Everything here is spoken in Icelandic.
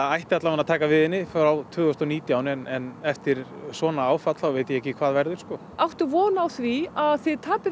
ætti að taka við henni tvö þúsund og nítján en eftir svona áfall þá veit ég ekki hvað verður áttu von á því að þið tapið